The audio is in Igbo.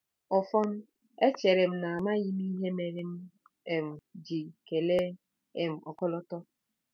Ọfọn, echere m na amaghị m ihe mere m um ji kelee um ọkọlọtọ.